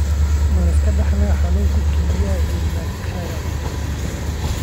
Ma la iska dhaxlo xanuunka kelyaha ee nutcracker?